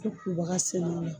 kubaga sɛnɛ o la.